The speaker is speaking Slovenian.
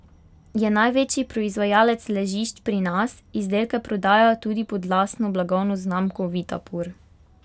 Je največji proizvajalec ležišč pri nas, izdelke prodaja tudi pod lastno blagovno znamko Vitapur.